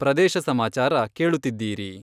ಪ್ರದೇಶ ಸಮಾಚಾರ ಕೇಳುತ್ತಿದ್ದೀರಿ...